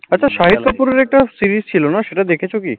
একটা shahid kapoor ওর একটা series ছিলো, দেখেছ না কি?